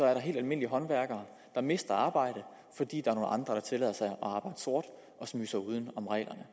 er der helt almindelige håndværkere der mister arbejdet fordi der er nogle andre der tillader sig at arbejde sort og smyge sig uden om reglerne